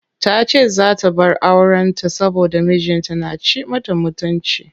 Tace zaa ta bar auren ta saboda mijin ta na ci mata mutunci.